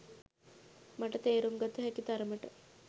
මට තේරුම් ගත හැකි තරමට